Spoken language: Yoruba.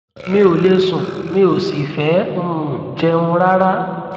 mi ò lè sùn mi ò sì fẹ um jẹun rárá